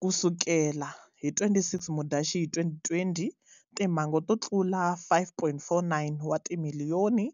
Kusukela hi 26 Mudyaxihi 2020 timhangu to tlula 5.49 wa timilliyoni